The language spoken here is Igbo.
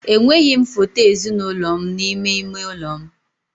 Enweghị m foto ezinụlọ m n'ime ime ụlọ m.